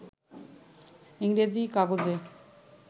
ইংরেজি-কাগজে